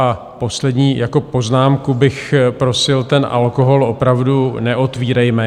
A poslední poznámku bych prosil - ten alkohol opravdu neotvírejme.